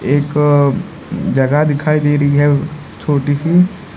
एक जगह दिखाई दे रही है छोटी सी।